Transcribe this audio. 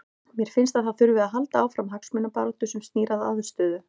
Mér finnst að það þurfi að halda áfram hagsmunabaráttu sem snýr að aðstöðu.